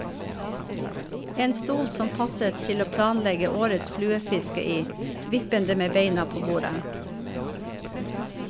En stol som passet til å planlegge årets fluefiske i, vippende med beina på bordet.